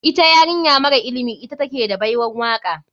Ita yarinya mara ilimi ta take da baiwan waka.